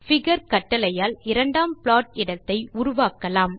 figure கட்டளையால் இரண்டாம் plot இடத்தை உருவாக்கலாம்